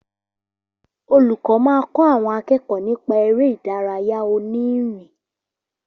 Olùkọ́ máa kọ́ àwọn akẹ́kọ̀ọ́ nípa eré ìdárayá òní ìrìn